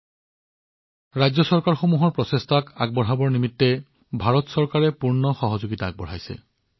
ভাৰত চৰকাৰে ৰাজ্য চৰকাৰৰ প্ৰচেষ্টা আগবঢ়াই নিয়াৰ বাবে সকলো শক্তিৰে কাম কৰি আছে